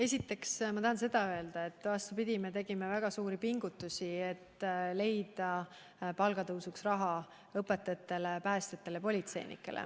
Esiteks ma tahan öelda seda, et vastupidi, me tegime väga suuri pingutusi, et leida õpetajate, päästjate ja politseinike palga tõstmiseks raha.